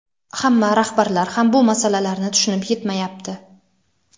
hamma rahbarlar ham bu masalalarni tushunib yetmayapti.